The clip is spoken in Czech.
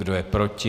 Kdo je proti?